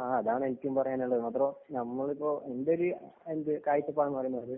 ആ അതാണ് എനിക്കും പറയാനുള്ളത്. മാത്രോ നമ്മളിപ്പം എന്‍റയൊരു കാഴ്ചപ്പാട് എന്ന് പറഞ്ഞാല്